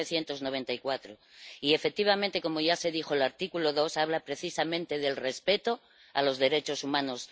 1994. Y, efectivamente, como ya se dijo, el artículo 2 habla precisamente del respeto de los derechos humanos.